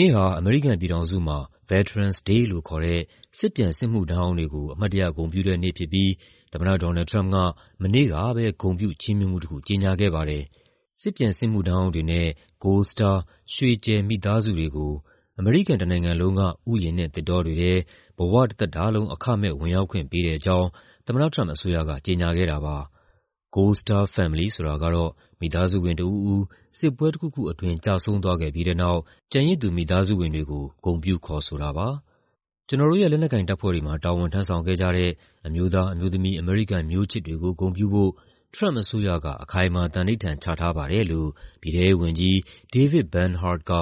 နေ့ဟာ အမေရိကန်ပြည်ထောင်စုမှာ Veterans Day လို့ခေါ်တဲ့ စစ်ပြန်စစ်မှုထမ်းဟောင်းတွေကို အမှတ်တရ ဂုဏ်ပြုတဲ့နေ့ဖြစ်ပြီး သမ္မတ ဒေါ်နယ်လ်ဒ် ထရမ့်ပ်က မနေ့ကပဲ ဂုဏ်ပြု ချီးမြှင့်မှုတခု ကြေညာခဲ့ပါတယ်။ စစ်ပြန်စစ်မှုထမ်းဟောင်းတွေနဲ့ Gold Star ရွှေကြယ် မိသားစုတွေကို အမေရိကန်တနိုင်ငံလုံးက ဥယျာဉ်နဲ့သစ်တောတွေထဲ ဘဝတသက်တာလုံး အခမဲ့ဝင်ရောက်ခွင့်ပေးတဲ့အကြောင်း သမ္မတထရမ့်ပ်အစိုးရက ကြေညာခဲ့တာပါ။ Gold Star Family ဆိုတာကတော့ မိသားစုဝင်တဦးဦး စစ်ပွဲတခုခုအတွင်း ကျဆုံးသွားခဲ့ပြီးတဲ့နောက် ကျန်ရစ်သူ မိသားစုဝင်တွေကို ဂုဏ်ပြုခေါ်ဆိုတာပါ။ "ကျနော်တို့ရဲ့ လက်နက်ကိုင်တပ်ဖွဲ့တွေမှာ တာဝန်ထမ်းဆောင်ခဲ့ကြတဲ့ အမျိုးသား၊ အမျိုးသမီး အမေရိကန်မျိုးချစ်တွေကို ဂုဏ်ပြုဖို့ ထရမ့်ပ်အစိုးရက အခိုင်အမာ သန္နိဋ္ဌာန်ချထားပါတယ်။" လို့ ပြည်ထဲရေးဝန်ကြီး David L. Bernhardt က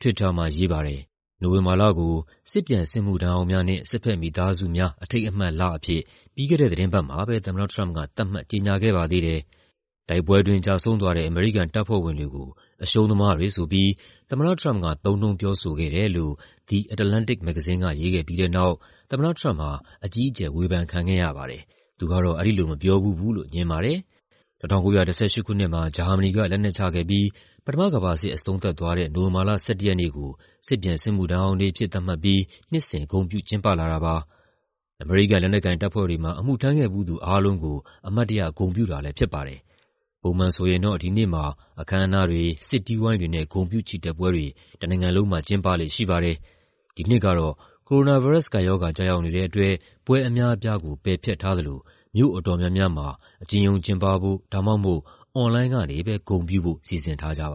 Twitter မှာ ရေးပါတယ်။ နိုဝင်ဘာလကို "စစ်ပြန်စစ်မှုထမ်းဟောင်းများနှင့် စစ်ဘက်မိသားစုများ အထိမ်းအမှတ်" အဖြစ် ပြီးခဲ့တဲ့ သီတင်းပတ်မှာပဲ သမ္မတထရမ့်ပ်က သတ်မှတ် ကြေညာခဲ့ပါသေးတယ်။ တိုက်ပွဲအတွင်း ကျဆုံးသွားတဲ့ အမေရိကန်တပ်ဖွဲ့ဝင်တွေကို အရှုံးသမားတွေဆိုပြီး သမ္မတထရမ့်ပ်က သုံးနှုန်းပြောဆိုခဲ့တယ်လို့ The Atlantic မဂ္ဂဇင်းက ရေးခဲ့ပြီးတဲ့နောက် သမ္မတထရမ့်ပ်ဟာ အကြီးအကျယ် ဝေဖန်ခံခဲ့ရပါတယ်။ သူကတော့ အဲဒီလိုမပြောဖူးဘူးလို့ ငြင်းပါတယ်။ ၁၉၁၈ ခုနှစ်မှာ ဂျာမနီက လက်နက်ချခဲ့ပြီး ပထမကမ္ဘာစစ် အဆုံးသတ်သွားတဲ့ နိုဝင်ဘာလ ၁၁ ရက်နေ့ကို စစ်ပြန်စစ်မှုထမ်းဟောင်းနေ့အဖြစ် သတ်မှတ်ပြီး နှစ်စဉ် ဂုဏ်ပြုကျင်းပလာတာပါ။ အမေရိကန် လက်နက်ကိုင်တပ်ဖွဲ့တွေမှာ အမှုထမ်းခဲ့ဖူးသူအားလုံးကို အမှတ်တရ ဂုဏ်ပြုတာလည်းဖြစ်ပါတယ်။ ပုံမှန်ဆိုရင်တော့ ဒီနေ့မှာ အခမ်းအနားတွေ၊ စစ်တီးဝိုင်းတွေနဲ့ ဂုဏ်ပြုချီတက်ပွဲတွေ တနိုင်ငံလုံးမှာ ကျင်းပလေ့ရှိပါတယ်။ ဒီနှစ်ကတော့ ကိုရိုနာဗိုင်းရပ်စ်ကပ်ရောဂါ ကျရောက်နေတဲ့အတွက် ပွဲအများအပြားကို ပယ်ဖျက်ထားသလို မြို့အတော်များများမှာ အကျဉ်းရုံးကျင်းပဖို့ ဒါမှမဟုတ် အွန်လိုင်းကနေပဲ ဂုဏ်ပြုဖို့ စီစဉ်ထားကြပါ